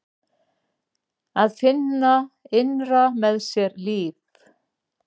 Að finna innra með sér líf.